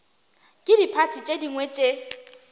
ke diphathi tše dingwe tše